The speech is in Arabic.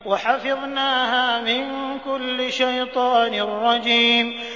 وَحَفِظْنَاهَا مِن كُلِّ شَيْطَانٍ رَّجِيمٍ